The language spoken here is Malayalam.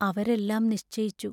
അവരെല്ലാം നിശ്ചയിച്ചു.